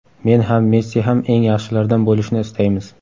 Men ham, Messi ham eng yaxshilardan bo‘lishni istaymiz.